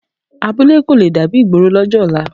Abúlé kò le dàbí ìgboro lọ́jọ́ ọ̀la